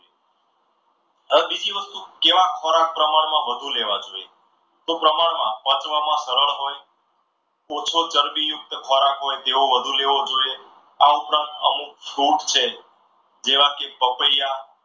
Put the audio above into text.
અને બીજી વસ્તુ કેવા ખોરાક વધુ પ્રમાણમાં લેવા જોઈએ તો પ્રમાણ માં પચવામાં સરળ હોય. ઓછો ચરબી યુક્ત ખોરાક હોય તેવું વધુ લેવો જોઈએ આ ઉપરાંત અમુક food છે જેવા કે પપૈયા